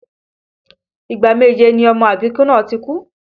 Ìgbà méje ni ọmọ àbíkú náà ti kú